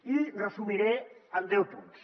i ho resumiré en deu punts